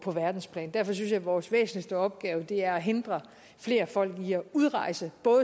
på verdensplan derfor synes jeg vores væsentligste opgave er at hindre flere folk i at udrejse